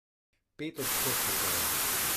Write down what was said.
Pet odstotkov torej.